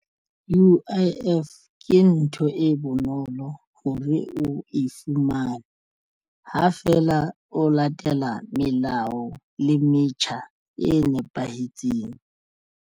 U_I_F ke ntho e bonolo hore o e fumane ha feela o latela melao le metjha e nepahetseng.